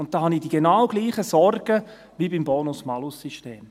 Ich habe da die genau gleichen Sorgen wie beim Bonus-Malus-System.